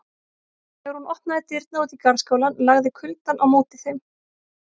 Þegar hún opnaði dyrnar út í garðskálann lagði kuldann á móti þeim.